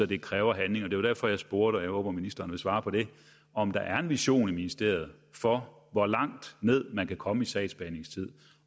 det kræver handling det var derfor jeg spurgte og jeg håber at ministeren vil svare på det om der er en vision i ministeriet for hvor langt ned man kan komme i sagsbehandlingstid